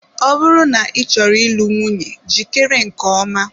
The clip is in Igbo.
Ọ bụrụ na ị chọrọ ịlụ nwunye jikere nke ọma.